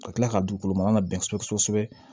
Ka kila ka dugukolo ma ka bɛn kosɛbɛ